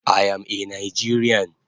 I am a Nigerian